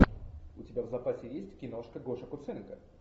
у тебя в запасе есть киношка гоши куценко